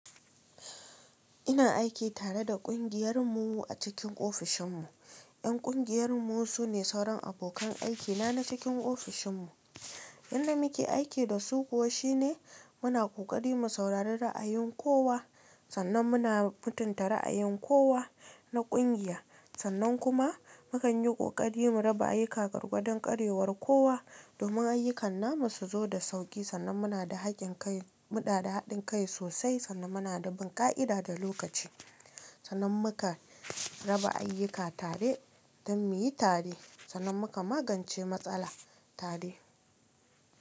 Ina aiki tare da kungiyar mu a cikin ofishin mu. Ƴan kungiyar mu sune sauran abokan aiki na na cikin ofishin mu. Yanda muke aiki da su kuwa shine muna kokari mu saurari ra'ayin kowa, sannan muna mutunta ra'ayin kowa na ƙungiya, sannan kuma mu kan yi ƙoƙari mu raba ayyuka gwargwadon ƙarewar kowa domin ayyukan mu su zo da sauƙi sannan muna da haƙin kai. Mu da haɗin kai sosai sannan muna da bunƙa'ida da lokaci. Sannan muka raba ayyuka tare don muyi tare sannan muka magance matsala tare.